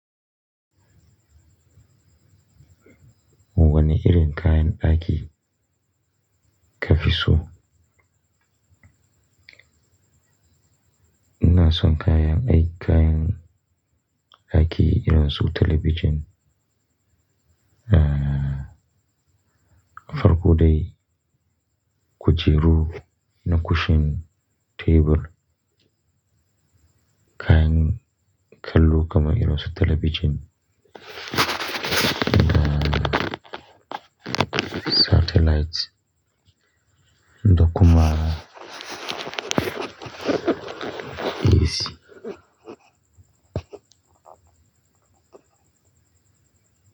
Wani irin kayan aiki kafiso. Ina son kayan, ay kayan aiki irin su talabijin, uh farko dai kujeru da cushion, tebur, kayan kallo kamar irin su talabijin, ina satellite, dokuma, AC.